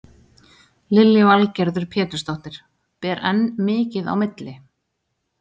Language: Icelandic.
Lillý Valgerður Pétursdóttir: Ber enn mikið á milli?